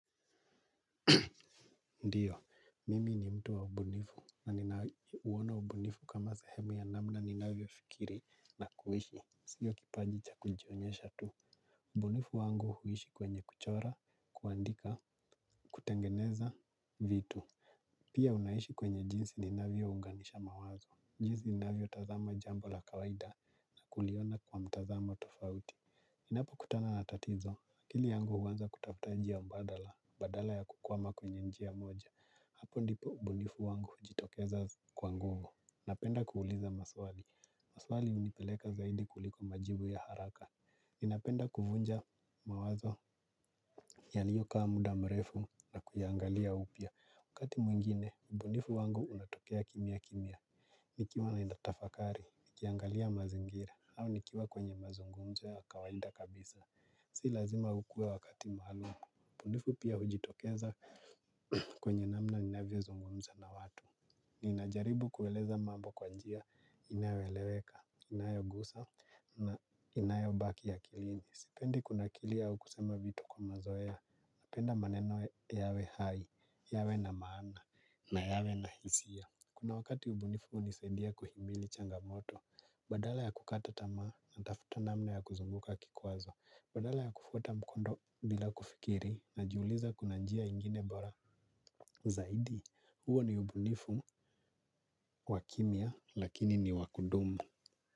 Ndio, mimi ni mtu wa ubunifu, na ninauona ubunifu kama sehemu ya namna ninavyofikiri na kuishi. Sio kipaji cha kujionyesha tu. Ubunifu wangu huishi kwenye kuchora, kuandika, kutengeneza vitu. Pia unaishi kwenye jinsi ninavyounganisha mawazo. Jinsi ninavyotazama jambo la kawaida na kuliona kwa mtazamo tofauti. Ninapokutana na tatizo, akili yangu huanza kutafuta njia mbadala, badala ya kukwama kwenye njia moja. Hapo ndipo ubunifu wangu hujitokeza kwa nguvu. Napenda kuuliza maswali. Maswali hunipeleka zaidi kuliko majibu ya haraka. Ninapenda kuvunja mawazo. Yaliyokaa muda mrefu na kuyaangalia upya. Wakati mwingine, ubunifu wangu unatokea kimya kimya. Nikiwa naenda tafakari, nikiangalia mazingira, au nikiwa kwenye mazungumzo ya kawaida kabisa. Si lazima ukue wakati maalum. Ubunifu pia hujitokeza kwenye namna ninavyozungumza na watu. Ninajaribu kueleza mambo kwa njia inayoeleweka, inayogusa na inayobaki akilini. Sipendi kunakilia au kusema vitu kwa mazoea. Napenda maneno yawe hai, yawe na maana na yawe na hisia. Kuna wakati ubunifu hunisaidia kuhimili changamoto. Badala ya kukata tamaa, natafuta namna ya kuzunguka kikwazo. Badala ya kufuata mkondo bila kufikiri najiuliza kuna njia ingine bora zaidi? Huo ni ubunifu wa kimya lakini ni wa kudumu.